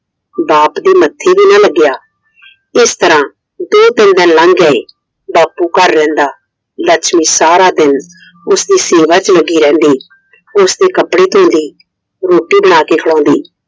ਬਾਪ ਦੇ ਮੱਥੇ ਵੀ ਨਾ ਲੱਗਿਆ ਇਸ ਤਰਹ ਦੋ ਤਿੰਨ ਦਿਨ ਲੰਗ ਗਏ I ਬਾਪੂ ਘਰ ਰਹਿੰਦਾ, ਲੱਛਮੀ ਸਾਰਾ ਦਿਨ ਉਸਦੀ ਸੇਵਾ ਚ ਲੱਗੀ ਰਹਿੰਦੀI ਉਸਦੇ ਕੱਪੜੇ ਧੋਂਦੀ, ਰੋਟੀ ਬਣਾ ਕੇ ਖਾਵਾਂਦੀ